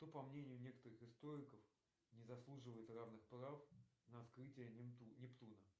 кто по мнению некоторых историков не заслуживает равных прав на открытие нептуна